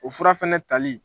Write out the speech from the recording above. O fura fana tali